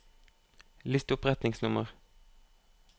list opp retningsnummer